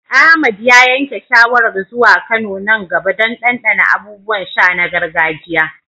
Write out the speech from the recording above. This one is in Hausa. Ahmad ya yanke shawarar zuwa Kano nan gaba don ɗanɗana abubuwan sha na gargajiya.